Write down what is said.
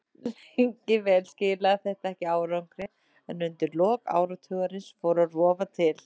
Lengi vel skilaði þetta ekki árangri en undir lok áratugarins fór að rofa til.